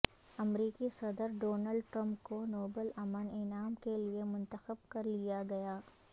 امریکی صدر Donald Trump کو نوبل امن انعام کیلئے منتخب کر لیا گیا